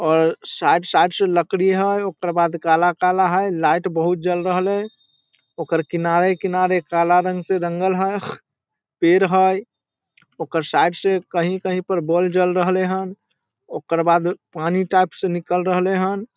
और side side से लकड़ी हेय | ओकर बाद काला काला हेय लाइट बहुत जल रहले ओकर किनारे किनारे काला काला रंग से रंगल हेय पेड़ हेय ओकर साइड से कहीं कहीं पर बॉल जल रहले हन ओकर बाद पानी टाइप से निकल रहले हन ।